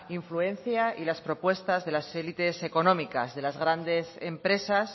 influencia y a las propuestas de las élites económicas de las grandes empresas